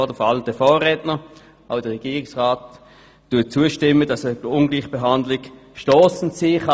Auch der Regierungsrat stimmt zu, dass eine Ungleichbehandlung stossend sein kann.